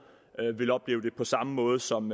vil opleve det på samme måde som